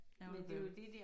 Ærgerlig bærgerlig